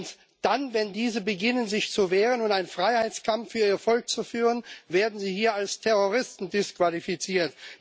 Und wenn sie dann beginnen, sich zu wehren und einen Freiheitskampf für ihr Volk zu führen, werden sie hier als Terroristen disqualifiziert.